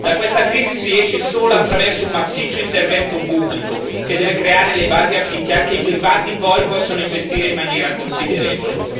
Da questa crisi si esce solo attraverso un massiccio intervento pubblico, che deve creare le basi affinché anche i privati, poi, possono investire in maniera considerevole.